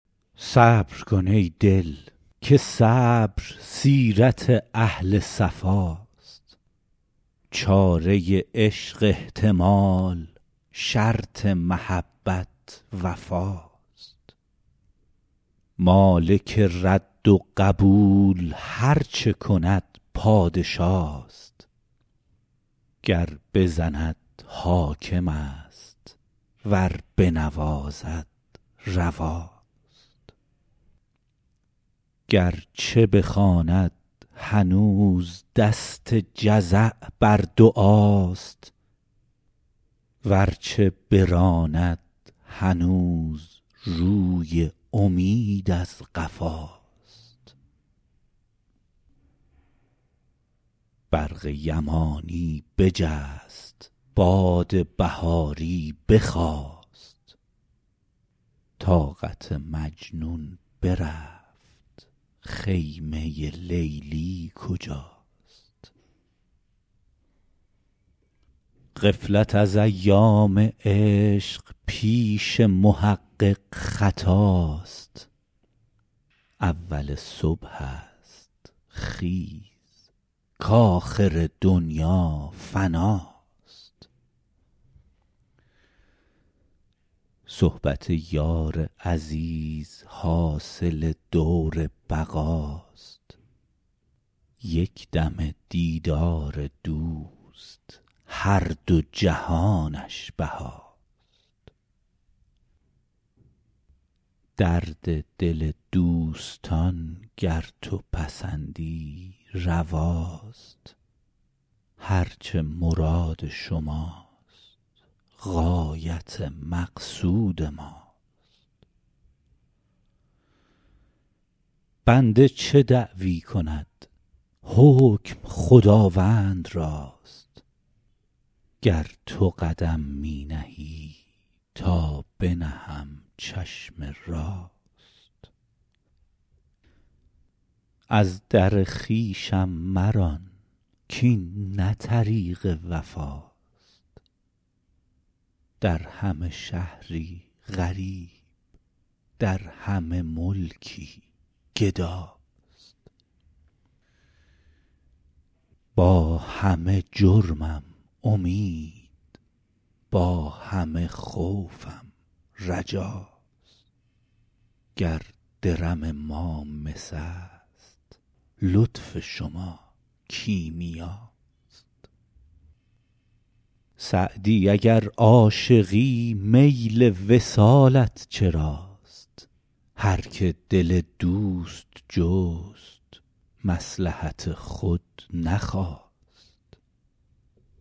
صبر کن ای دل که صبر سیرت اهل صفاست چاره عشق احتمال شرط محبت وفاست مالک رد و قبول هر چه کند پادشاست گر بزند حاکم است ور بنوازد رواست گر چه بخواند هنوز دست جزع بر دعاست ور چه براند هنوز روی امید از قفاست برق یمانی بجست باد بهاری بخاست طاقت مجنون برفت خیمه لیلی کجاست غفلت از ایام عشق پیش محقق خطاست اول صبح است خیز کآخر دنیا فناست صحبت یار عزیز حاصل دور بقاست یک دمه دیدار دوست هر دو جهانش بهاست درد دل دوستان گر تو پسندی رواست هر چه مراد شماست غایت مقصود ماست بنده چه دعوی کند حکم خداوند راست گر تو قدم می نهی تا بنهم چشم راست از در خویشم مران کاین نه طریق وفاست در همه شهری غریب در همه ملکی گداست با همه جرمم امید با همه خوفم رجاست گر درم ما مس است لطف شما کیمیاست سعدی اگر عاشقی میل وصالت چراست هر که دل دوست جست مصلحت خود نخواست